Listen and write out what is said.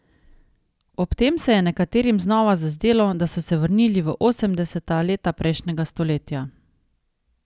Ob tem se je nekaterim znova zazdelo, da so se vrnili v osemdeseta leta prejšnjega stoletja.